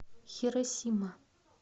хиросима